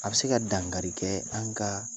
A bi se ka dangari kɛ an ka